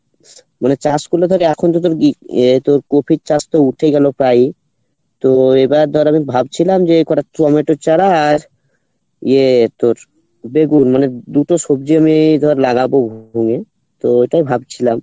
মানে চাষ করলে ধর এখন যদি আহ তোর কোফির চাষ তো উঠে গেলো প্রায় তো এবার ধর আমি ভাবছিলাম যে কটা টমেটোর চারা আর ইয়ে তোর বেগুন মানে দুটো সবজি আমি ধর লাগাবো ওখানে তো ওটা ভাবছিলাম